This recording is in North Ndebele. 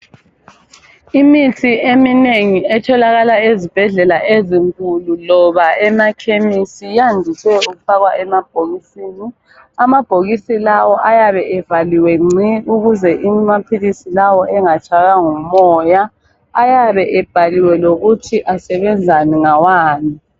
Imithi eminengi etholakala ezibhedlela ezinkulu loba emakhemisi iyandise ukufakwa emabhokisini. Amabhokisi lawa ayabe evaliwe gci ukuze amaphilisi lawa engatshaywa ngumoya ayabe ebhaliwe lokuthi asebenzani ngawani.